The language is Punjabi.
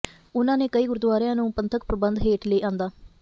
ਉਨ੍ਹਾਂ ਨੇ ਕਈ ਗੁਰਦੁਆਰਿਆਂ ਨੂੰ ਪੰਥਕ ਪ੍ਰਬੰਧ ਹੇਠ ਲਿਆਂਦਾ